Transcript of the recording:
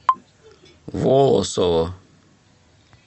волосово